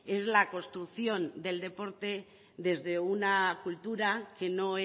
es la construcción del deporte desde una cultura que no